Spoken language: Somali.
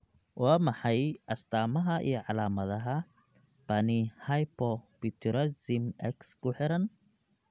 Waa maxay astamaha iyo calaamadaha Panhypopituitarism X ku xiran?